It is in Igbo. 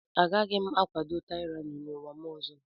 Agaghị m akwado tyranny n'ụwa m ọzọ.